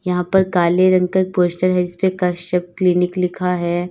यहां पर काले रंग का पोस्टर है इस पे कश्यप क्लिनिक लिखा है।